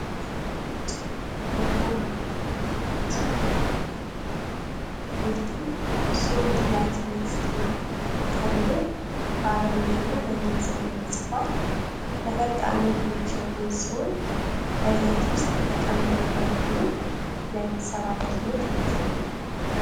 ቀይና ነጭ የኦማር ብራንድ የዓሳ ቆርቆሮዎች ናቸው። ምርቱ "Solid Light Meat Tuna" ተብሎ በአረብኛና በእንግሊዝኛ ተጽፏል። ለፈጣን ምግቦች የሚውል ሲሆን፣ በዘይት ውስጥ የተቀመመ በመሆኑ ለቤተሰብ አገልግሎት ምቹ ነው።